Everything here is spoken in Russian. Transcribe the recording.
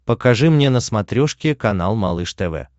покажи мне на смотрешке канал малыш тв